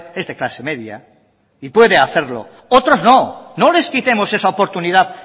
es de clase media y puede hacerlo otros no no les quitemos esa oportunidad